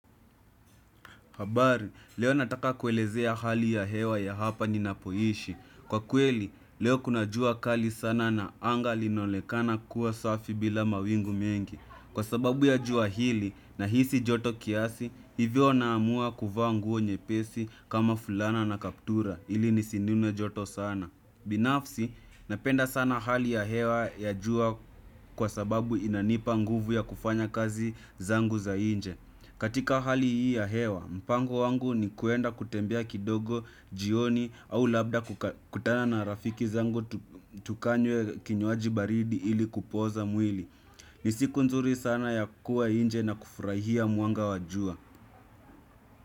Habari, leo nataka kuelezea hali ya hewa ya hapa ninapoishi. Kwa kweli, leo kuna jua kali sana na anga linaonekana kuwa safi bila mawingu mengi. Kwa sababu ya jua hili nahisi joto kiasi, hivyo naamua kuvaa nguo nyepesi kama fulana na kaptura, ili nisinune joto sana. Binafsi, napenda sana hali ya hewa ya jua kwa sababu inanipa nguvu ya kufanya kazi zangu za nje katika hali hii ya hewa, mpango wangu ni kuenda kutembea kidogo jioni au labda kutana na rafiki zangu tukanywe kinywaji baridi ili kupooza mwili ni siku nzuri sana ya kuwa nje na kufurahia mwanga wa jua.